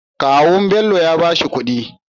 Kawun Bello yabashi kudi